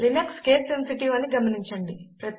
Linux case sensitive అని కూడా గమనించండి